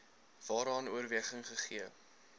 waaraan oorweging gegee